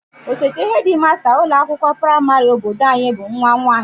Osote hedịmasta ụlọakwụkwọ praịmarị obodo anyị bụ nwa nwaanyị